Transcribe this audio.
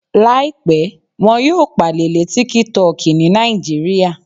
Làìpẹ́, wọn yóò pàlè lé tíkítọki ní Nàìjíríà